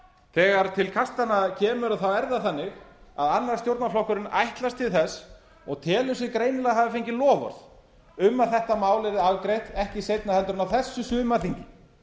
þegar til kastanna kemur er það þannig að annar stjórnarflokkurinn ætlast til þess og telur sig greinilega hafa fengið loforð um að þetta mál yrði afgreitt ekki seinna en á þessu sumarþingi